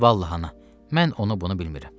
Vallahi ana, mən onu bunu bilmirəm.